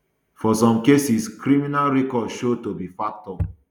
for some cases criminal records show to be factor